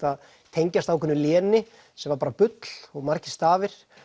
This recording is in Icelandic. tengdist ákveðnu léni sem var bara bull og margir stafir